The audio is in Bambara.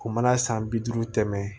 O mana san bi duuru tɛmɛ